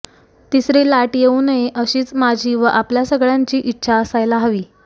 तिसरी लाट येऊ नये अशीच माझी व आपल्या सगळ्यांची इच्छा असयाला हवी